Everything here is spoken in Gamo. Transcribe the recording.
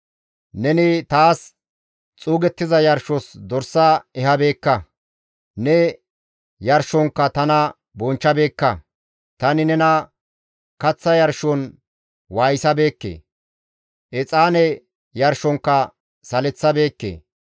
Neni taas xuugettiza yarshos dors ehabeekka; ne yarshonkka tana bonchchabeekka. Tani nena kaththa yarshon waayisabeekke; exaane yarshonkka saleththabeekke.